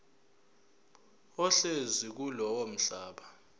ohlezi kulowo mhlaba